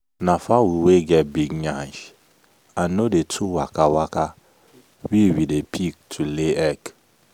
na fowl wey get big yansh and no dey too waka waka we we dey pick to lay egg.